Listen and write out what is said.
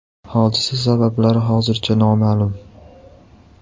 Hodisa sabablari hozircha noma’lum.